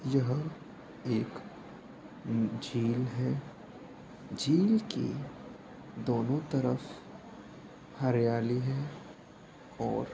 यह एक झील है झील की दोनों तरफ हरियाली है और --